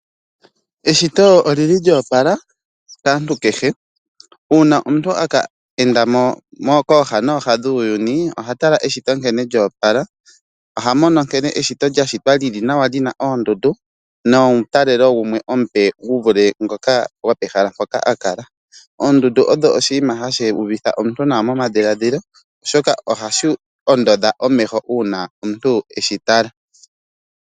Eshito olyo opala kaantu uuna omuntu e ke enda mo kooha noha dhuuyuni oha tala nkene eshito lyo opala. Oha mono nkene eshito li na oondundu nomutalelo gumwe omupe gu vule gwopehala mpoka a kala. Oondundu odho oshinima hashi u vitha nawa omuntu momadhiladhilo, oshoka ohadhi ondodha omeho uuna omuntu e dhi tala.